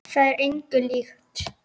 Það er engu líkt.